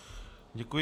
Děkuji.